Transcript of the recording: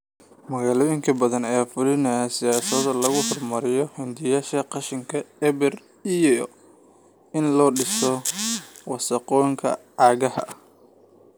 Magaalooyin badan ayaa fulinaya siyaasado lagu horumarinayo hindisayaasha qashinka eber iyo in la dhimo wasakhowga caagga ah.